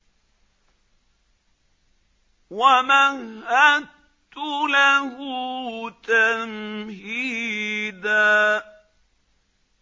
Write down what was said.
وَمَهَّدتُّ لَهُ تَمْهِيدًا